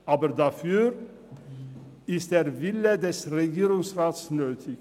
Aber dafür ist der Wille des Regierungsrats nötig.